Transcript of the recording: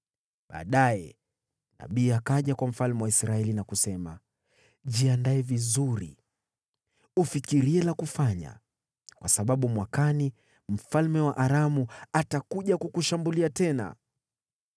Baadaye nabii akaja kwa mfalme wa Israeli na kusema, “Jiandae vizuri ufikirie la kufanya, kwa sababu mwakani mfalme wa Aramu atakuja kukushambulia tena.”